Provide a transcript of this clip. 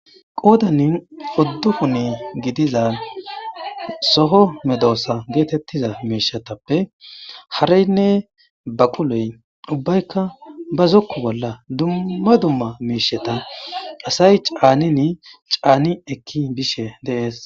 Qoodanin oddukune gidiza soho medoosa geetettiza meeshetappe hareynne baquloy ubbaykka ba zokku bolla dumma dumma meesheta asay caanini caani ekki bishe deees.